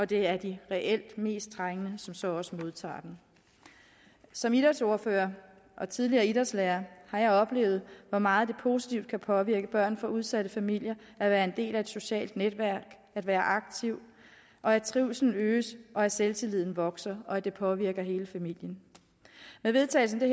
det er de reelt mest trængende som så også modtager den som idrætsordfører og tidligere idrætslærer har jeg oplevet hvor meget det positivt kan påvirke børn fra udsatte familier at være en del af et socialt netværk at være aktiv og at trivslen øges at selvtilliden vokser og at det påvirker hele familien med vedtagelsen af